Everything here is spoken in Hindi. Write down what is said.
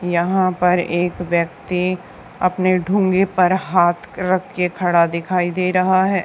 यहां पर एक व्यक्ति अपने ढूंगे पर हाथ रख के खड़ा दिखाई दे रहा है।